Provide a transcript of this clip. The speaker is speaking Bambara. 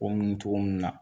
O mun togo mun na